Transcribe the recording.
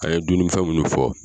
A ye duminifɛnwɛ minnu fɔ